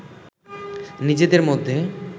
নিজেদের মধ্যে